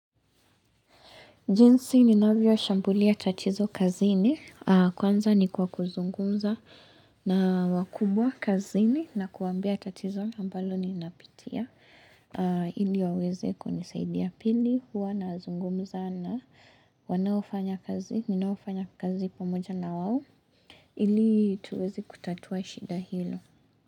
Jinsi ninavyoshambulia tatizo kazini. Kwanza ni kwa kuzungumza na wakubwa kazini na kuwaambia tatizo ambalo ninapitia. Ili waweze kunisaidia. Pili, huwa nazungumza na wanaofanya kazi, ninaofanya kazi pamoja na wao. Ili tuweze kutatua shida hilo.